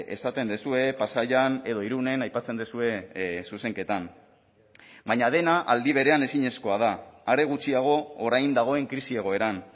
esaten duzue pasaian edo irunen aipatzen duzue zuzenketan baina dena aldi berean ezinezkoa da are gutxiago orain dagoen krisi egoeran